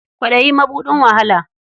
Kwaɗayi mabuɗin wahala.